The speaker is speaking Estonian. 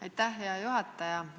Aitäh, hea juhataja!